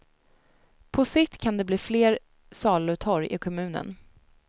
På sikt kan det bli fler salutorg i kommunen.